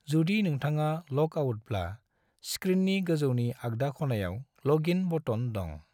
जुदि नोंथाङा ल'ग आउटब्ला, स्क्रीननि गोजौनि आगदा खनायाव ल'गइन बटन दं।